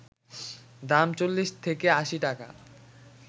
দাম ৪০ থেকে ৮০ টাকা